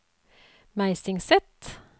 Meisingset